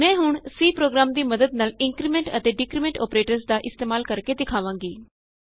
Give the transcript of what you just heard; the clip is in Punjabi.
ਮੈਂ ਹੁਣ C ਪ੍ਰੋਗਰਾਮ ਦੀ ਮੱਦਦ ਨਾਲ ਇੰਕਰੀਮੈਂਟ ਅਤੇ ਡਿਕਰੀਮੈਂਟ ਅੋਪਰੇਟਰਸ ਦਾ ਇਸਤੇਮਾਲ ਕਰਕੇ ਦਿਖਾਵਾਂਗੀ